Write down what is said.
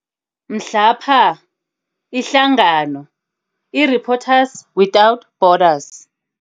Mhlapha ihlangano iReporters without Borders